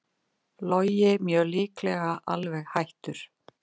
Logi mjög líklega alveg hættur